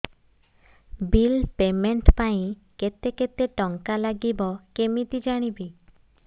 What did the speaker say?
bill payment ପାଇଁ କେତେ କେତେ ଟଙ୍କା ଲାଗିବ କେମିତି ଜାଣିବି